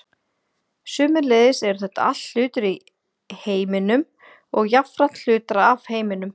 sömuleiðis eru þetta allt hlutir í heiminum og jafnframt hlutar af heiminum